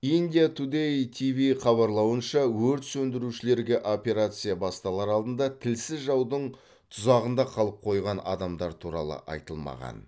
индия тудэй тиви хабарлауынша өрт сөндірушілерге операция басталар алдында тілсіз жаудың тұзағында қалып қойған адамдар туралы айтылмаған